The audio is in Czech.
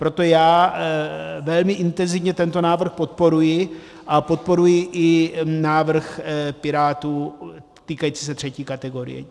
Proto já velmi intenzivně tento návrh podporuji a podporuji i návrh Pirátů týkající se třetí kategorie.